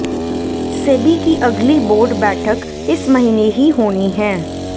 सेबी की अगली बोर्ड बैठक इस महीने ही होनी है